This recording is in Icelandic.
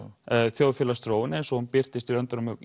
þjóðfélagsþróun eins og hún birtist í löndunum